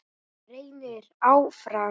Reynir áfram.